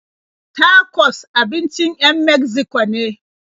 Tacos abincin 'yan Megziko ne.